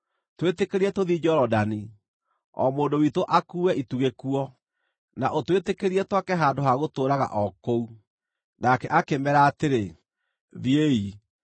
Twĩtĩkĩrie tũthiĩ Jorodani, o mũndũ witũ akuue ĩtugĩ kuo; na ũtwĩtĩkĩrie twake handũ ha gũtũũraga kũu.” Nake akĩmeera atĩrĩ, “Thiĩi.”